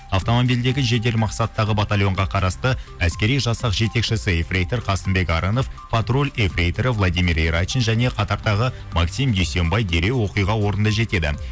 автомобильдегі жедел мақсаттағы батальонға қарасты әскери жасақ жетекшісі ефрейтор қасымбек арынов патруль ефрейторы владимир ирачин және қатардағы максим дүйсенбай дереу оқиға орнына жетеді